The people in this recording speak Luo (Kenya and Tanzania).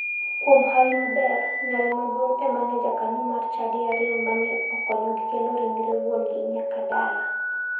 Kuom hawi maber, nyare maduong' ema ne jakanyo mar chadi ariyo mane okonyogi kelo ringre wuongi nyaka dala.